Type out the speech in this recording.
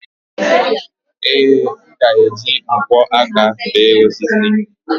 ee, m ga-eji nkwọ aka béé osisi